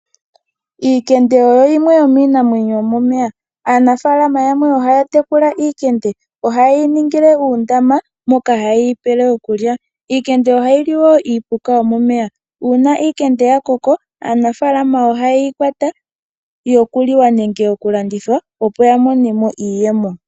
Iikende oyo yimwe yominamwenyo yomomeya, aanafalama yamwe ohaya tekula iikende ohayeyi ningile uundama moka hayeyi pele okulya. Iikende ohayi li iipuka yomomeya. Uuna iikende ya koko aanafalama ohayeyi kwata yokuliwa nenge okulandithwa opo yamone mo iiyemo.